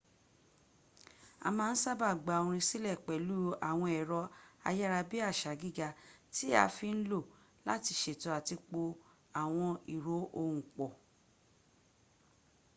a má n sába gba orin sílẹ̀ pẹ̀lú àwọn ẹ̀rọ ayára bí àṣá gíga ti a fi n lò láti ṣètò àti po àwọn ìró ohùn pọ̀